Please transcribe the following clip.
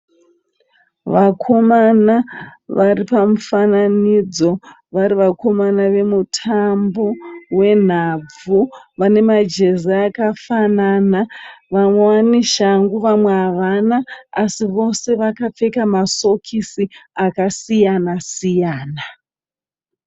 Vakomana vari pamufananidzo, vari vakomana vemutambo wenhabvu. Vane majezi akafanana. Vamwe vane shangu vamwe havana asi vose vakapfeka masokisi akasiyana siyana.